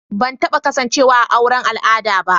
Ban taba kasancewa a auren al'ada ba.